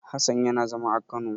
Hassan yana zama a Kano.